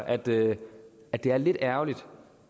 at det er lidt ærgerligt